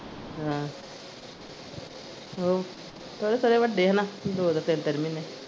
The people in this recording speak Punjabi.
ਹਾਂ ਉਹ ਥੋੜੇ ਥੋੜੇ ਵੱਡੇ ਹੈਨਾ ਦੋ ਦੋ ਤਿੰਨ ਤਿੰਨ ਮਹੀਨੇ।